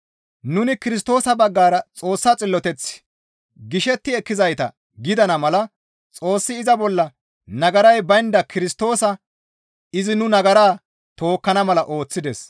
Nuni Kirstoosa baggara Xoossa xilloteth gishetti ekkizayta gidana mala Xoossi iza bolla nagaray baynda Kirstoosa izi nu nagara tookkana mala ooththides.